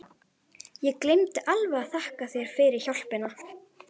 Ég gleymdi alveg að þakka þér fyrir hjálpina!